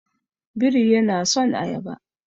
Biri yana son ayaba.